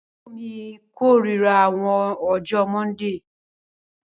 Àbúrọ̀ mi kọ̀rírà àwọn ọjọ mọ́ndíì